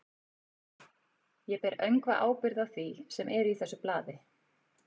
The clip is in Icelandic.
Ég ber öngva ábyrgð á því, sem er í þessu blaði.